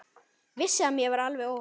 Vissi að mér var alveg óhætt.